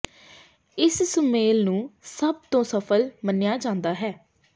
ਇਸ ਸੁਮੇਲ ਨੂੰ ਸਭ ਤੋਂ ਸਫਲ ਮੰਨਿਆ ਜਾਂਦਾ ਹੈ